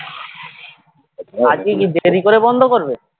আজকে কি দেরি করে বন্ধ করবে